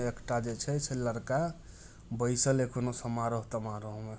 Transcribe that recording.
एकटा जे छै लड़का बैसल या कोनो समारोह तमारोह में----